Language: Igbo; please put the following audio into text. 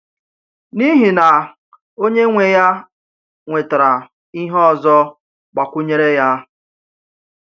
N’ihi na Onye nwe ya nwetara ihe ọzọ gbakwụnyere ya.